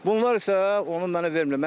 Bunlar isə onu mənə vermirlər.